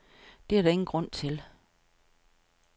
Det er der ingen grund til.